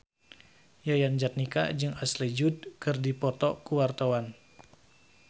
Yayan Jatnika jeung Ashley Judd keur dipoto ku wartawan